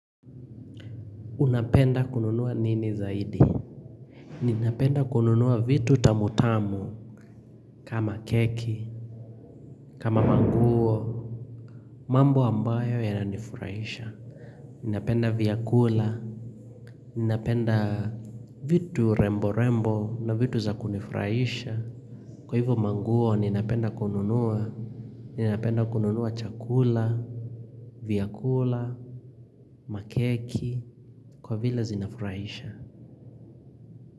Unapenda kununua nini zaidi? Ninapenda kununuwa vitu tamutamu kama cake kama manguo mambo ambayo yananifurahisha Ninapenda vyakula Ninapenda vitu rembo rembo na vitu za kunifurahisha Kwa hivyo manguo ninapenda kununuwa Ninapenda kununua chakula vyakula Makeki Kwa vile zinafurahisha.